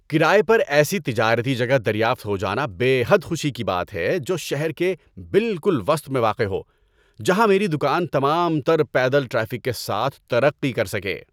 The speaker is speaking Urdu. کرایے پر ایسی تجارتی جگہ دریافت ہو جانا بے حد خوشی کی بات ہے جو شہر کے بالکل وسط میں واقع ہو، جہاں میری دکان تمام تر پیدل ٹریفک کے ساتھ ترقی کر سکے۔